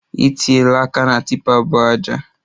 I tiela aka na tipa bu aja